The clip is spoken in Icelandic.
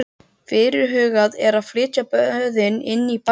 Fyrirhugað er að flytja böðin inn í bæinn.